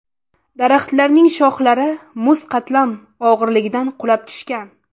Daraxtlarning shoxlari muz qatlam og‘irligidan qulab tushgan.